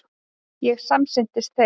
Ég samsinnti þeim.